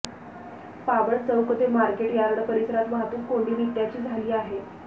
पाबळ चौक ते market yard परिसरात वाहतूक कोंडी नित्याची झाली आहे